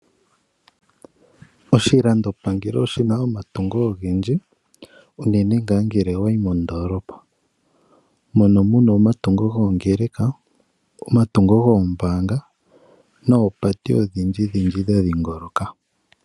Oshilandopangelo oshi na omatungo ogendji. Uunene tuu ngele owa yi moondolopa, mono mu na omatungo goongeleka, omatungo goombanga, noopate odhindjidhindji dha dhingoloka.